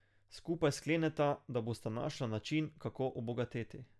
Skupaj skleneta, da bosta našla način, kako obogateti.